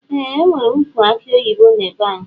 Eeh enwere ukwu aki oyibo na be anyi.